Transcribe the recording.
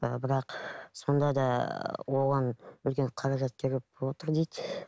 ііі бірақ сонда да оған үлкен қаражат керек болып отыр дейді